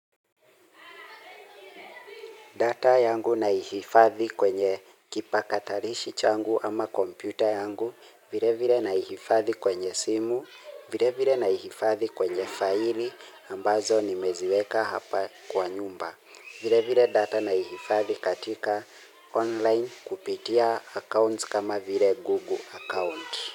Data yangu naihifadhi kwenye kipakatalishi changu ama kompyuta yangu, vile vile na ihifadhi kwenye simu, vile vile na ihifadhi kwenye faili ambazo nimeziweka hapa kwa nyumba. Vile vile data na ihifadhi katika online kupitia accounts kama vile Google account.